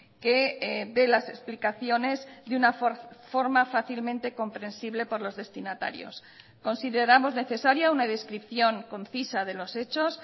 que de las explicaciones de una forma fácilmente comprensible por los destinatarios consideramos necesaria una descripción concisa de los hechos